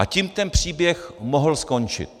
A tím ten příběh mohl skončit.